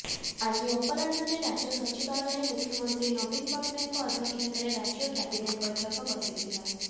ଆଜି ଅପରାହ୍ଣରେ ରାଜ୍ୟ ସଚିବାଳୟରେ ମୁଖ୍ୟମନ୍ତ୍ରୀ ନବୀନ ପଟ୍ଟନାୟକଙ୍କ ଅଧ୍ୟକ୍ଷତାରେ ରାଜ୍ୟ କ୍ୟାବିନେଟ୍ ବୈଠକ ବସିଥିଲା